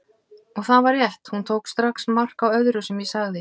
Og það var rétt, hún tók strax mark á öllu sem ég sagði.